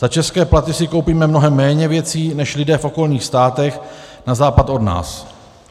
Za české platy si koupíme mnohem méně věcí než lidé v okolních státech na západ od nás.